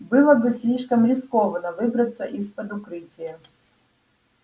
было бы слишком рискованно выбраться из-под укрытия